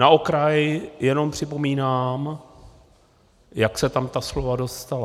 Na okraj jenom připomínám, jak se tam ta slova dostala.